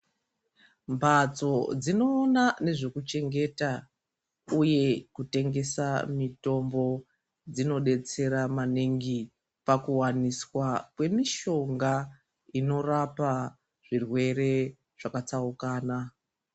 Mhatso dzinoona nezvekuchengeta uye kutengesa mitombo dzinodetsera maningi pakuwaniswa kwemishonga inorapa zvirwere zvakatsaukana.